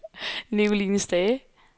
Nicoline Stage